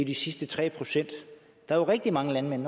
de sidste tre procent der er rigtig mange landmænd